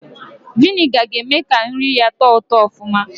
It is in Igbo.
Viniga ga-eme ka nri yaa tọọ ụtọ ọfụma